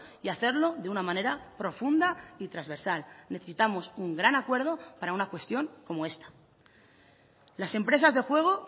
y hacerlo de una manera profunda y transversal necesitamos un gran acuerdo para una cuestión como esta las empresas de juego